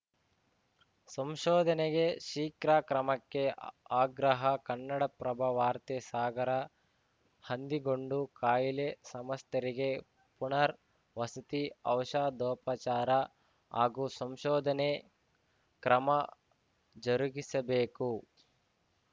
ಸಂಶೋಧನೆಗೆ ಶೀಘ್ರ ಕ್ರಮಕ್ಕೆ ಆಗ್ರಹ ಕನ್ನಡಪ್ರಭ ವಾರ್ತೆ ಸಾಗರ ಹಂದಿಗೊಂಡು ಕಾಯಿಲೆ ಸಮಸ್ತರಿಗೆ ಪುನರ್‌ ವಸತಿ ಔಷಧೋಪಚಾರ ಹಾಗೂ ಸಂಶೋಧನೆ ಕ್ರಮ ಜರುಗಿಸಬೇಕು